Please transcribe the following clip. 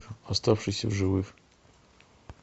оставшийся в живых